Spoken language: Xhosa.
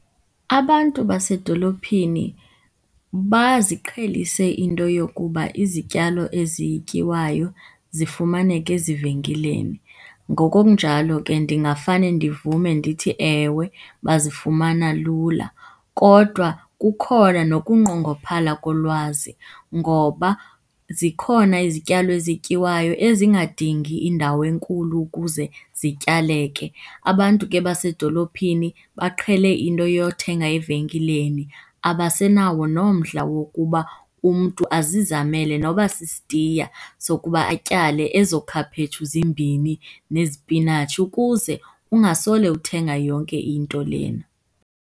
Abantu basedolophini baziqhelise into yokuba izityalo ezityiwayo zifumaneka ezivenkileni. Ngoko kunjalo ke ndingafane ndivume ndithi, ewe bazifumana lula. Kodwa kukhona nokunqongophala kolwazi ngoba zikhona izityalo ezityiwayo ezingadingi indawo enkulu ukuze zityaleke. Abantu ke basedolophini baqhele into yothenga evenkileni, abasenawo nomdla wokuba umntu azizamele noba sisitiya sokuba atyale ezo khaphetshu zimbini nezipinatshi ukuze ungasole uthenga yonke into lena.